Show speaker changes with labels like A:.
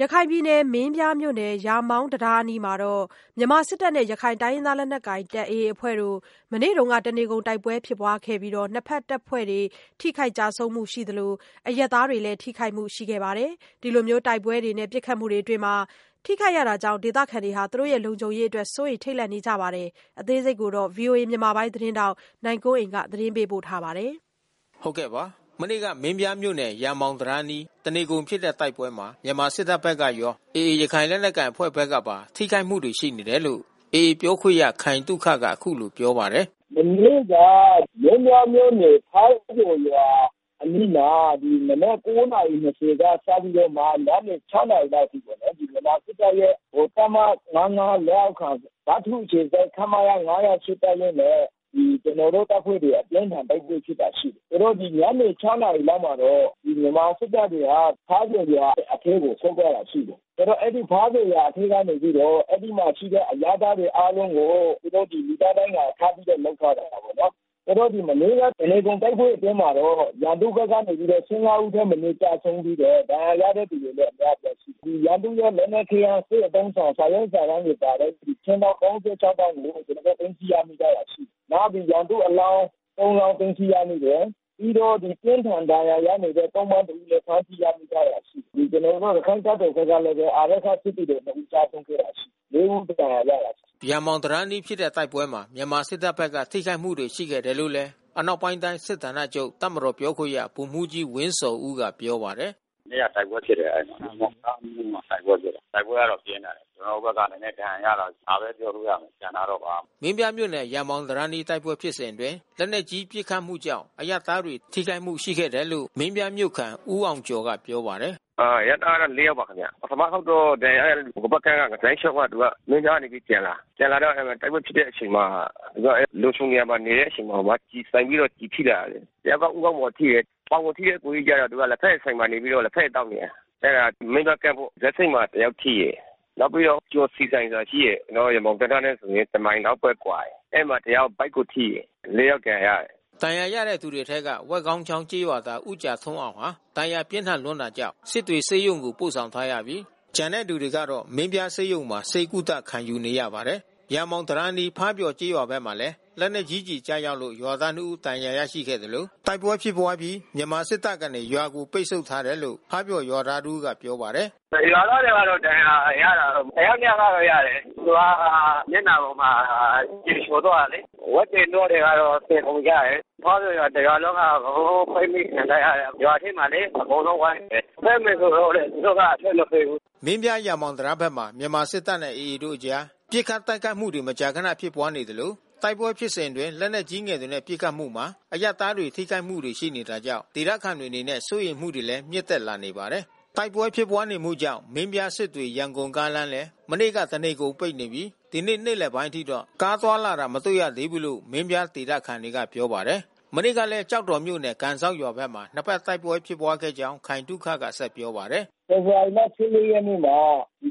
A: ရခိုင်ပြည်နယ်၊ မင်းပြားမြို့နယ်၊ ရာမောင်တံတားအနီးမှာ တပ်မတော်နဲ့ ရခိုင်လက်နက်ကိုင် အဖွဲ့တို့ မနေ့က တနေကုန် တိုက်ပွဲဖြစ်ပွားရာမှာတော့ နှစ်ဖက်တပ်ဖွဲ့တွေ ထိခိုက်ကျဆုံးမှု ရှိသလို အရပ်သားတွေလည်း ထိခိုက်မှု ရှိနေတာပါ။ ဒီလို တိုက်ပွဲတွေနဲ့ ပစ်ခတ်မှုတွေအတွင်း ထိခိုက်ရတာကြောင့် ဒေသခံတွေ လုံခြုံရေးအတွက် စိုးရိမ်ထိတ်လန့်နေကြရပါတယ်။ အပြည့်အစုံကို ဗွီအိုအေ မြန်မာပိုင်းသတင်းထောက် နိုင်ကွန်းအိန် ဆက်သွယ်မေးမြန်း သတင်းပေးပို့ထားပါတယ်။ မနေ့က မင်းပြားမြို့နယ် ရာမောင်တံတားအနီး တနေကုန်ဖြစ်တဲ့ တိုက်ပွဲမှာ မြန်မာစစ်တပ်ဘက်ကရော AA ရခိုင်လက်နက်ကိုင်အဖွဲ့ဘက်ကပါ ထိခိုက်မှုရှိတယ်လို့ AA ပြောခွင့်ရ ခိုင်သုခက အခုလို ပြောပါတယ်။
B: “မနေ့က မင်းပြားမြို့နယ် ဖားပျော်ရွာအနီးမှာ မနက် ၉ နာရီ ၂၀ စပြီးတာ့မှ ညနေ ၆ နာရီလောက်အထိပေါ့နော်။ ဗမာစစ်တပ်ရဲ့ တပ်မ ၅၅ လက်အောက်ခံ ဗထူးအခြေစိုက် ခမရ ၅၀၈ တပ်ရင်းနဲ့ ကျနော်တို့အဖွဲ့ အပြင်းထန် တိုက်ပွဲဖြစ်တာရှိတယ်။ ဆိုတော့ ဒီညနေ ၆ နာရီလောက်မှာတော့ မြန်မာစစ်တပ်တွေဟာ ဖားပျော်ရွာအထဲကို ဆင်းသွားတာရှိတယ်။ ဆိုတော့ အဲဒီ ဖားပျော်ရွာအထဲကနေပြီးတော့ အဲဒီမှာရှိတဲ့ အရပ်သားတွေအားလုံးကို သူတို့ လူသားဒိုင်းကာထားပြီးတော့ လုပ်ထားတာပေါ့နော်။ “မနေ့က တနေကုန် တိုက်ပွဲအတွင်းမှာတော့ ရန်သူဘက်က ၁၅ ဦးထက်မနည်း ကျဆုံးပြီးတော့ ဒဏ်ရာရတဲ့သူတွေလည်း အများအပြားရှိတယ်။ ရန်သူ့ရဲ့ လက်နက်ခဲယမ်း စစ်အသုံးအဆောင် စာရွက်စာတမ်းတွေပါတဲ့ ခြင်းတောင်း ၃၆ တောင်းကို ကျနော်တို့ သိမ်းဆည်းရမိထားတာ ရှိတယ်။ နောက် ရန်သူ့အလောင်း ၃ လောင်း သိမ်းဆည်းရမိတယ်။ ပြီးတော့ အပြင်းအထန် ဒဏ်ရာရနေတဲ့ သုံ့ပန်းတဦးလည်း ဖမ်းဆီးရမိထားတယ်။ ကျနော်တို့ ရခိုင်တပ်တော်ဘက်ကလည်းပဲ အာရက္ခစစ်သည်တော်တဦး ကျဆုံးခဲ့တာရှိတယ်။ ၄ ဦး ဒဏ်ရာရပါတယ်။
A: ” ရာမောင်တံတားအနီးဖြစ်တဲ့ တိုက်ပွဲမှာ မြန်မာစစ်တပ်ဘက်က ထိခိုက်မှု ရှိခဲ့တယ်လို့ အနောက်ပိုင်းတိုင်း စစ်ဌာနချုပ် တပ်မတော်ပြောခွင့်ရ ဗိုလ်မှူးကြီးဝင်းဇော်ဦးက ပြောပါတယ်။
B: “မနေ့က တိုက်ပွဲဖြစ်တယ် အဲဒီမှာ။ ရာမောင်တံတားအနီးမှာ တိုက်ပွဲဖြစ်တယ်။ တိုက်ပွဲကတော့ ပြင်းထန်တယ်။ ကျနော်တို့ဘက်က နည်းနည်း ဒဏ်ရာရတယ်။ ဒါပဲပြောလို့ရမယ် ကျန်တာတော့ ဘာမှမသ
A: ိဘူး။” မင်းပြားမြို့နယ် ရာမောင်တံတားအနီး တိုက်ပွဲဖြစ်စဉ်အတွင်း လက်နက်ကြီး ပစ်ခတ်မှုကြောင့် အရပ်သားတွေ ထိခိုက်မှုရှိခဲ့ပါတယ်လို့ မင်းပြားမြို့ခံ ဦးအောင်ကျော်က ပြောပါတယ်။ “အရပ်သားက ၄ ယောက်ပါခင်ဗျ။ ပထမတခေါက်တော့ ဒဏ်ရာရတဲ့သူ တဖက်ကမ်းကပါပဲ။ လမ်းလျှောက်ပြီးတော့ သူက မင်းပြားကနေ ပြန်လာတာ။ ပြန်လာတော့ အဲဒီမှာ တိုက်ပွဲဖြစ်တ
B: ဲ့အချိန်မှာ သူက လုံခြုံတဲ့နေရာမှာ နေတဲ့အချိန်မှာမှ ကျည်မှန်ပြီးတော့ ကျည်ထိတာ။ တယောက်က ဦးခေါင်းမှာထိတယ်။ ပေါင်မှာထိတဲ့ အစ်ကိုကြီးကတော့ သူက လက်ဖက်ရည်ဆိုင်မှာ နေပြီးတော့ လက်ဖက်ရည်သောက်နေတယ်။ အဲဒါ မင်းပြားကမ်းပေါ့။ ဇက်ဆိပ်မှာ တယောက်ထိတယ်။ နောက်ပြီးတော့ ကျော်ဆီဆိုင်ဆိုတာ ရှိတယ်။ ကျနော်တို့ ရာမောင်ဘက်ကမ်းနဲ့ဆို တမိုင်လောက်ပဲ ကွာတယ်။ အဲဒီမှာတယောက် ဗိုက်ကိုထိတယ်။ ၄ ယောက် ဒဏ်ရာရတယ်။
A: ” ဒဏ်ရာရတဲ့သူတွေအထဲက ဝက်ခေါင်းချောင်းကျေးရွာသား ဦးကြာထွန်းအောင်ဟာ ဒဏ်ရာပြင်းထန်တာကြောင့် စစ်တွေဆေးရုံကို ပို့ဆောင်ထားရပြီး ကျန်တဲ့သူတွေကတော့ မင်းပြားဆေးရုံမှာ ဆေးကုသ ခံယူနေရပါတယ်။ ရာမောင်တံတားအနီး ဖားပျော်ကျေးရွာဘက်မှာလည်း လက်နက်ကြီးကျည် ကျရောက်လို့ ရွာသား ၂ ဦး ဒဏ်ရာရရှိခဲ့သလို တိုက်ပွဲဖြစ်ပွားအပြီး မြန်မာစစ်တပ်ကနေ ရွာကို ပိတ်ဆို့ထားတယ်လို့ ဖားပျော်ရွာသားတဦးက ပြောပါတယ်။ “ရွာသားတွေကတော့ ဒဏ်ရာရတယ်။ တယောက် နှစ်ယောက်ကတော့ ရတယ်။ သူက
B: မျက်နှာပေါ်က ကျည်ချော်သွားတယ်လေ။ ဝက်တွေ နွားတွေတော့ သေကုန်ကြတယ်။ ဖားပျော်ရွာ တရွာလုံးက အကုန်လုံး ပိတ်မိခံထားရတယ်။ ရွာထဲကိုလေ အကုန်လုံးဝိုင်းနေတယ်။ ထွက်မယ်ဆိုတော့လည်း သူတို့က အထွက
A: ်မပေးဘူး။” မင်းပြား ရာမောင်တံတားဘက်မှာ မြန်မာစစ်တပ်နဲ့ AA တို့အကြား ပစ်ခတ်တိုက်ခိုက်မှုတွေ မကြာခန ဖြစ်ပွားနေသလို တိုက်ပွဲဖြစ်စဉ်အတွင်း လက်နက်ကြီးငယ်တွေနဲ့ ပစ်ခတ်မှုမှာ အရပ်သားတွေ ထိခိုက်မှုတွေ ရှိနေတာကြောင့် ဒေသခံတွေအနေနဲ့ စိုးရိမ်မှုတွေလည်း မြင့်တက်လာနေပါတယ်။ မနေ့ကလည်း ကျောက်တော်မြို့နယ် ကန်စောက်ရွာဘက်မှာ နှစ်ဖက် တိုက်ပွဲဖြစ်ပွားခဲ့ကြောင်း ခိုင်သုခက ဆက်ပြောပါတယ်။
B: “ဖေဖော်ဝါရီလ ၁၄ ရက်နေ့မှာ